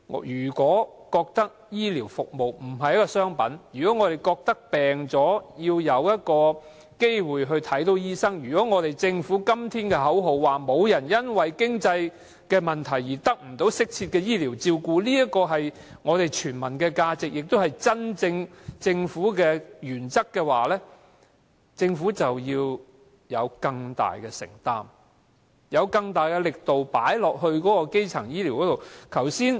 若說醫療服務不是商品，生病要有機會看醫生，又如果政府今天高呼口號說，沒人會因為經濟問題而得不到適切的醫療照顧，這是全民價值，也是政府真正的原則，則政府要有更大的承擔，更大力投放在基層醫療上。